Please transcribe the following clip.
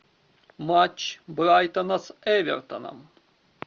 матч брайтона с эвертоном